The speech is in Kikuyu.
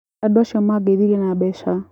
Andũ acio mangeithirie na mbeca.